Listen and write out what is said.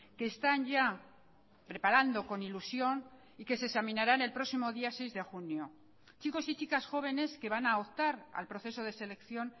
que están ya preparando con ilusión y que se examinarán el próximo día seis de junio chicos y chicas jóvenes que van a optar al proceso de selección